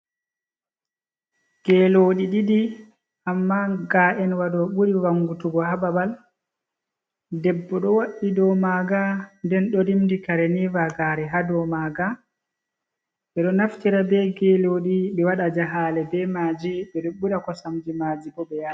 Geloɗi ɗiɗi, amma ga’en waɗo ɓuri wangutugo hababal. Debbo ɗo wa'i do maga nden do rimdi kare ha do maga, ɓe ɗo naftira ɓe geloɗi ɓe waɗa jahale be maji ɓeɗo ɓira kosamji maji bo ɓeyara.